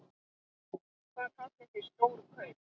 Hvað kallið þið stór kaup?